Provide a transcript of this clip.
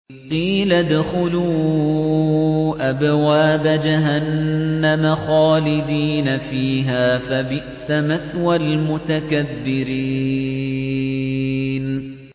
قِيلَ ادْخُلُوا أَبْوَابَ جَهَنَّمَ خَالِدِينَ فِيهَا ۖ فَبِئْسَ مَثْوَى الْمُتَكَبِّرِينَ